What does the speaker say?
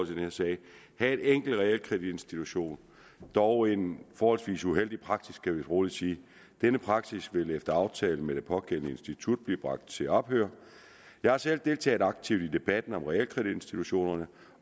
her sag havde en enkelt realkreditinstitution dog en forholdsvis uheldig praksis kan vi vist roligt sige denne praksis vil efter aftale med det pågældende institut blive bragt til ophør jeg har selv deltaget aktivt i debatten om realkreditinstitutionerne